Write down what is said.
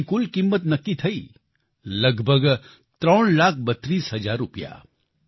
પાકની કુલ કિંમત નક્કી થઈ લગભગ ત્રણ લાખ બત્રીસ હજાર રૂપિયા